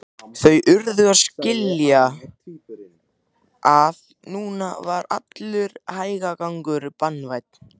Þau urðu að skilja að núna var allur hægagangur banvænn.